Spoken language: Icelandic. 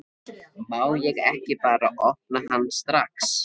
Má ég ekki bara opna hann strax?